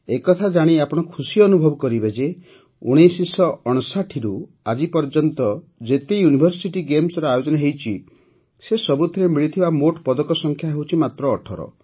ଏ କଥା ଜାଣି ଆପଣ ଖୁସି ଅନୁଭବ କରିବେ ଯେ ୧୯୫୯ରୁ ଆଜି ପର୍ଯ୍ୟନ୍ତ ଯେତେ ୟୁନିଭର୍ସିଟି ଗେମ୍ସର ଆୟୋଜନ ହୋଇଛି ସେ ସବୁଥିରେ ମିଳିଥିବା ମୋଟ ପଦକ ସଂଖ୍ୟା ହେଉଛି ମାତ୍ର ୧୮